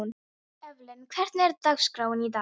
Evelyn, hvernig er dagskráin í dag?